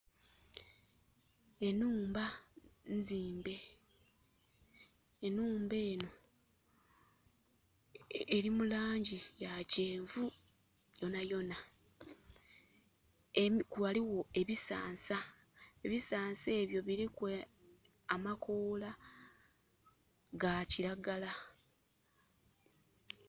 Enhumba nzimbe. Enhumba eno eri mulangi ya kyenvu yonayona. Waliwo ebisansa. Ebisansa ebyo biriku amakoola ga kiragala.